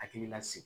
Hakili lasigi